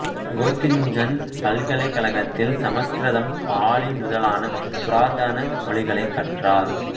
Gottingen பல்கலைக்கழகத்தில் சமஸ்கிருதம் பாலி முதலான புராதன மொழிகளைக் கற்றார்